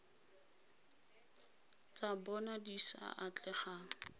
tsa bona di sa atlegang